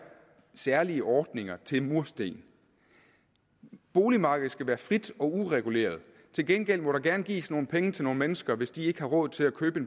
særlige ordninger til mursten boligmarkedet skal være frit og ureguleret til gengæld må der gerne gives nogle penge til nogle mennesker hvis de ikke har råd til at købe